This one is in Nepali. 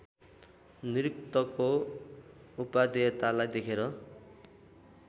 निरुक्तको उपादेयतालाई देखेर